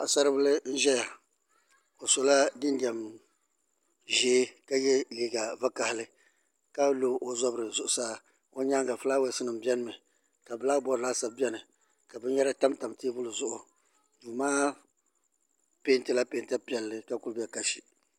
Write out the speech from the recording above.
Paɣasaribili n ʒɛya o sola jinjɛm ʒiɛ ka yɛ liiga vakaɣali ka lo o zabiri zuɣusaa o nyaanga fulaawaasi nim biɛni mi ka bilak bood laasabu biɛni ka binyɛra tamtam teebuli zuɣu duu maa peentila peenta piɛlli ka ku bɛ kasi